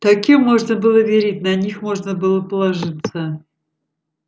таким можно было верить на них можно было положиться